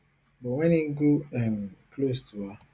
but wen im go um close to her